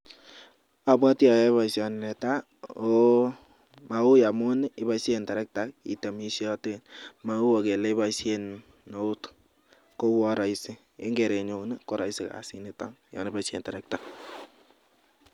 Abatwi ayae baishoni netaa ako, ma uy amun ibaishen terekta itemishaten, mau kele ibaishen eut koua raisi ingere nyun koraisi kasit niton yaibaishen terekta.